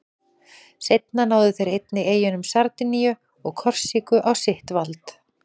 Seinna náðu þeir einnig eyjunum Sardiníu og Korsíku á sitt vald.